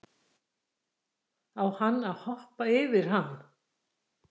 Á hann að hoppa yfir hann?